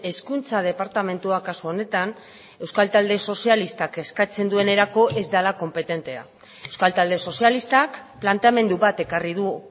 hezkuntza departamentuak kasu honetan euskal talde sozialistak eskatzen duenerako ez dela konpetentea euskal talde sozialistak planteamendu bat ekarri du